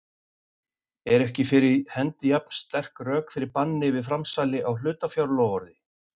eru ekki fyrir hendi jafn sterk rök fyrir banni við framsali á hlutafjárloforði.